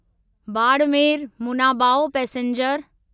Barmer Munabao passenger